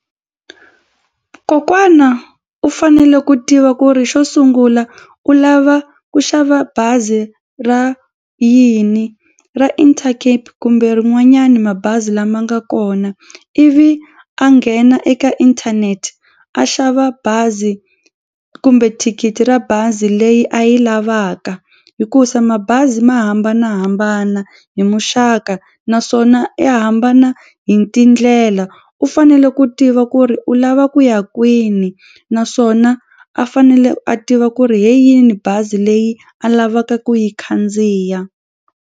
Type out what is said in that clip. Kokwana u fanele ku tiva ku ri xo sungula u lava ku xava bazi ra yini ra Intercape kumbe rin'wanyani mabazi lama nga kona ivi a nghena eka inthanete a xava bazi kumbe thikithi ra bazi leyi a yi lavaka hikusa mabazi ma hambanahambana hi muxaka naswona i hambana hi tindlela u fanele ku tiva ku ri u lava ku ya kwini naswona a fanele a tiva ku ri hi yini bazi leyi a lavaka ku yi khandziya.